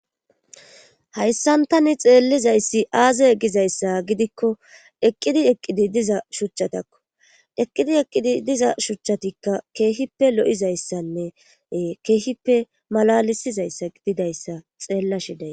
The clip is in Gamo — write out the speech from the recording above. Hayssantani xeellizayssi aaze egizayssa gidikko eqqidi eqqidi diza shuchchatakko eqqidi eqqidi diza shuchchatikka keehippe lo'izayssanne keehippe malalisizayssa gididayssa xeella shiday.